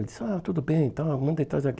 Ele disse, ah, tudo bem, então, manda ele trazer aqui.